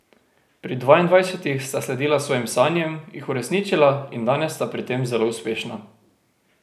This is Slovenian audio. Pri dvaindvajsetih sta sledila svojim sanjam, jih uresničila in danes sta pri tem zelo uspešna.